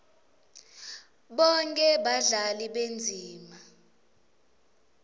bonkhe badlali bendzima